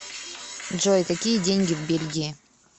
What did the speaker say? джой какие деньги в бельгии